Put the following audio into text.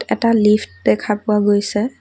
এটা লিফট্ দেখা পোৱা গৈছে।